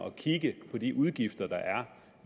at kigge på de udgifter der er